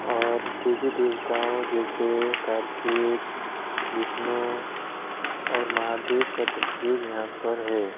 और देवी देवताओं जैसे कार्तिक विष्णु और महादेव का तस्वीर यहां पर है।